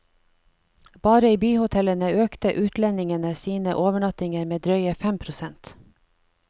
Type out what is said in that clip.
Bare i byhotellene økte utlendingene sine overnattinger med drøye fem prosent.